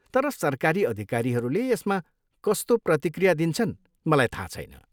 तर सरकारी अधिकारीहरूले यसमा कस्तो प्रतिक्रिया दिन्छन् मलाई थाहा छैन।